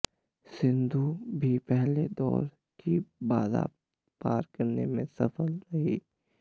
सिंधु भी पहले दौर की बाधा पार करने में सफल रहीं